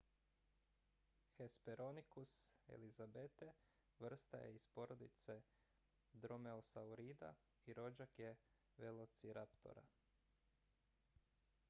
hesperonychus elizabethae vrsta je iz porodice dromeosaurida i rođak je velociraptora